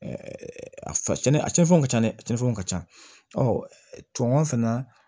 a cɛnni a cɛnfɛnw ka ca dɛ cɛncɛnw ka ca tubabu fana na